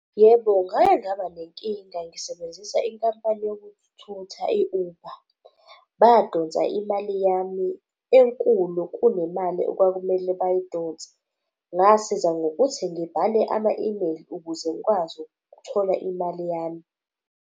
Yebo, ngake ngaba nenkinga ngisebenzisa inkampani yokuthutha i-Uber. Badonsa imali yami enkulu kunemali okwakumele bayidonse. Ngasiza ngokuthi ngibhale ama-email, ukuze ngikwazi ukuthola imali yami.